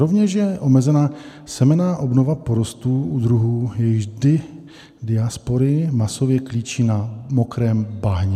Rovněž je omezena semenná obnova porostů u druhů, jejichž diaspory masově klíčí na mokrém bahně.